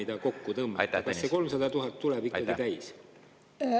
Kas see 300 000 eurot ikka tuleb täis?